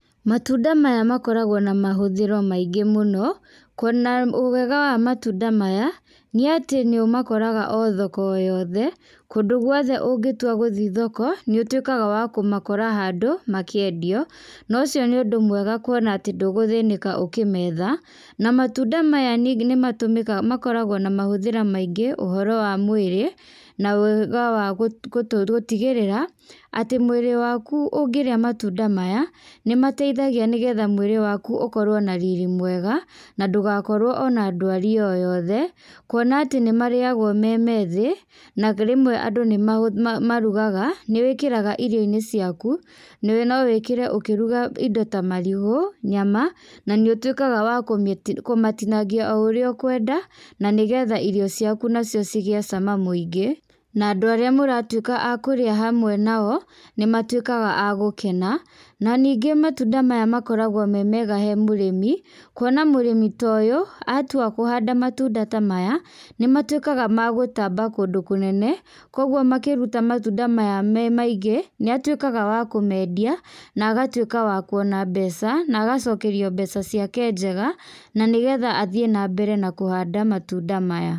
Matunda maya makoragwo na mahũthĩro maingĩ mũno, kuona wega matunda maya, nĩ atĩ nĩũmakoraga o thoko o yothe, kũndũ guothe ũngĩtua gũthiĩ thoko, nĩũtuĩkaga wa kũmakora handũ makĩendio, na ũcio nĩũndũ mwega kuona atĩ ndũgũthĩnĩka ũkĩmetha, na matunda maya ningĩ nĩmatũmikaga, makoragwo na mahũthĩro maingĩ, ũhoro wa mwĩrĩ, na wega wa gũ gũtũ gũtigĩrĩra, atĩ mwĩrĩ waku ũngĩrĩa matunda maya, nĩmateithagia nĩgetha mwĩrĩ waku ũkorwo na riri mwega, na ndũgakorwo ona ndwari o yothe, kuona atĩ nĩmarĩagwo me methĩ, na rĩmwe andũ nĩma ma marugaga, nĩwĩkĩraga irio-inĩ ciaku, no wĩkĩre ũkĩruga indo ta marigũ, nyama, na nĩ ũtuĩkaga wa kũmĩ kũmatinangia o ũrĩa ũkwenda, na nĩgetha irio ciaku nacio cigie cama mũingĩ, na andũ arĩa mũratuĩka a kũrĩa hamwe nao, nĩmatuĩkaga a gũkena, na ningĩ matunda maya makoragwo me mega he mũrimi, kuona mũrĩmi ta ũyũ atua kũhanda matunda ta maya, nĩmatuĩkaga ma gũtamba kũndũ kũnene, koguo makĩruta matunda maya me maingĩ, nĩatuĩkaga wa kũmendia, na agatuĩka wa kuona mbeca, na agacokerio mbeca ciake njega, na nĩgetha athiĩ na mbere na kũhanda matunda maya.